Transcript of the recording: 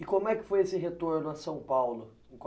E como é que foi esse retorno a São Paulo em